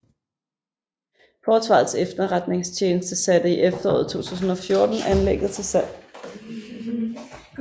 Forsvarets Efterretningstjeneste satte i efteråret 2014 anlægget til salg